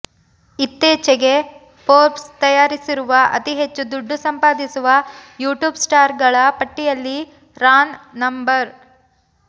ಇತ್ತೀಚೆಗೆ ಫೋರ್ಬ್ಸ್ ತಯಾರಿಸಿರುವ ಅತಿಹೆಚ್ಚು ದುಡ್ಡು ಸಂಪಾದಿಸುವ ಯೂಟ್ಯೂಬ್ ಸ್ಟಾರ್ ಗಳ ಪಟ್ಟಿಯಲ್ಲಿ ರಾನ್ ನಂ